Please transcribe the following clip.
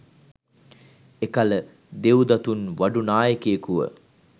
එකල දෙව්දතුන් වඩු නායකුයෙකුව